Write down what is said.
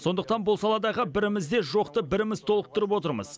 сондықтан бұл саладағы бірімізде жоқты біріміз толықтырып отырмыз